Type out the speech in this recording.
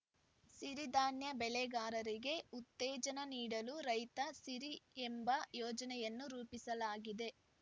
ಸಿರಿಧಾನ್ಯ ಬೆಳೆಗಾರರಿಗೆ ಉತ್ತೇಜನ ನೀಡಲು ರೈತ ಸಿರಿ ಎಂಬ ಯೋಜನೆಯನ್ನು ರೂಪಿಸಲಾಗಿದೆ